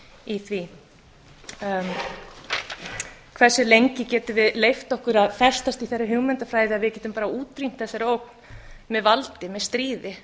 í því hversu lengi getum við leyft okkur að festast í þeirri hugmyndafræði að við getum bara útrýmt þessari ógn með valdi með stríði